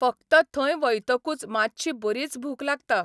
फक्त थंय वयतकूच मातशी बरीच भूक लागता.